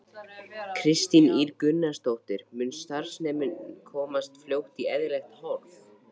Kristín Ýr Gunnarsdóttir: Mun starfsemin komast fljótt í eðlilegt horf?